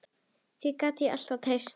Því gat ég alltaf treyst.